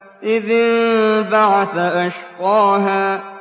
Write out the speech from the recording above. إِذِ انبَعَثَ أَشْقَاهَا